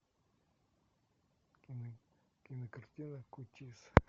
кинокартина